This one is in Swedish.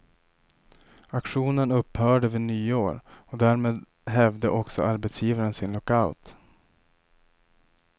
Aktionen upphörde vid nyår och därmed hävde också arbetsgivaren sin lockout.